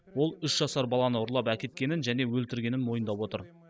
ол үш жасар баланы ұрлап әкеткенін және өлтіргенін мойындап отыр